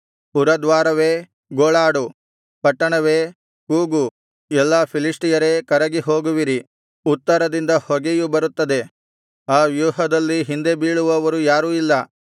ಪುರದ್ವಾರವೇ ಗೋಳಾಡು ಪಟ್ಟಣವೇ ಕೂಗು ಎಲ್ಲಾ ಫಿಲಿಷ್ಟಿಯರೇ ಕರಗಿ ಹೋಗುವಿರಿ ಉತ್ತರದಿಂದ ಹೊಗೆಯು ಬರುತ್ತದೆ ಆ ವ್ಯೂಹದಲ್ಲಿ ಹಿಂದೆ ಬೀಳುವವರು ಯಾರೂ ಇಲ್ಲ